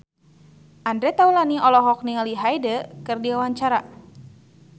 Andre Taulany olohok ningali Hyde keur diwawancara